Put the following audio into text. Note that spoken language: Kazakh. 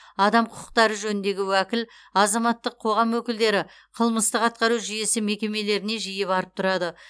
адам құқықтары жөніндегі уәкіл азаматтық қоғам өкілдері қылмыстық атқару жүйесі мекемелеріне жиі барып тұрады